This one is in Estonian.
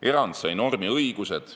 Erand sai normi õigused.